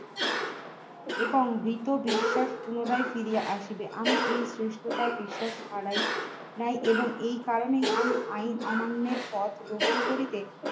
এবং মৃত বিশ্বাস পুনরায় ফিরিয়া আসিবে আমি এই শ্রেষ্ঠতার বিশ্বাস হারাই নাই এবং এই কারণেই আমি আইন অমান্যের পথ গ্রহণ করিতে